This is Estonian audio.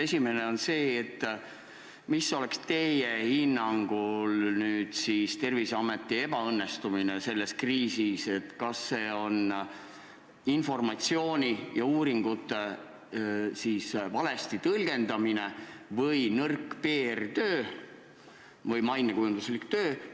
Esimene on selline: milles seisneb teie hinnangul Terviseameti ebaõnnestumine selles kriisis – kas see on informatsiooni ja uuringute valesti tõlgendamine või on see nõrk PR- või mainekujunduslik töö?